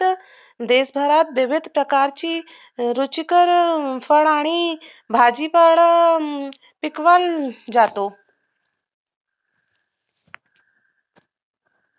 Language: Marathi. देशाला विविध प्रकारच्या रुचकर फळ आणि भाजी पण पिकवले जातो